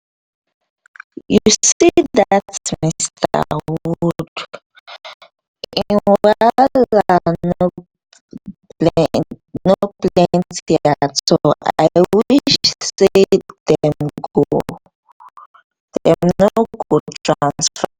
you see dat mr. woods im wahala no no plenty at all. i wish say dem no go transfer am